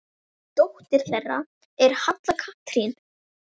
Dóttir þeirra er Halla Katrín.